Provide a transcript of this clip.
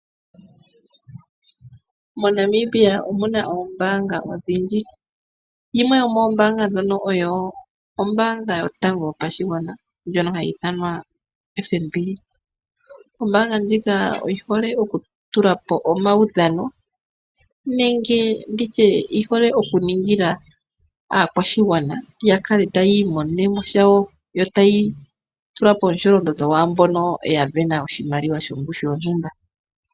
Monamibia omuna oombanga odhindji. Yimwe yo moombanga ndhono oyo ombaanga yotango yopashigwana ndjono hayi ithanwa FNB. Ombaanga ndjika oyihole oku tulapo omawudhano nenge nditye oyihole oku ningila aakwashigwana yakale taya imonenemo sha wo ,yo taya tulapo omusholondondo gwaambono ta sindana oshimaliwa shontumba.